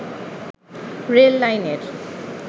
rail লাইনের